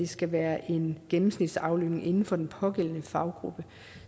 skal være en gennemsnitsaflønning inden for den pågældende faggruppe